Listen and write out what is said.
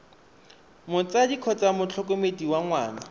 motsadi kgotsa motlhokomedi wa ngwana